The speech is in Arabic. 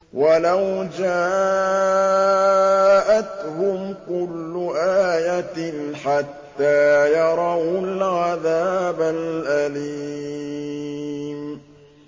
وَلَوْ جَاءَتْهُمْ كُلُّ آيَةٍ حَتَّىٰ يَرَوُا الْعَذَابَ الْأَلِيمَ